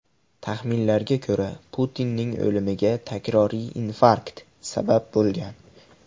Taxminlarga ko‘ra, Putinning o‘limiga takroriy infarkt sabab bo‘lgan.